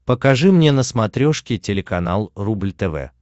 покажи мне на смотрешке телеканал рубль тв